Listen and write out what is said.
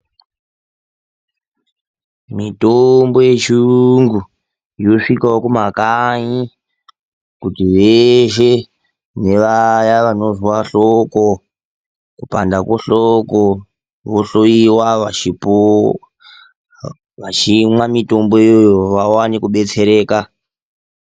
Mitombo yechiyungu yosvikawo kumakanyi kuti veshe nevaya vanozwa hloko, kupanda kwehloko vohloyiwa vachimwa mitomboyo vawane kubetsereka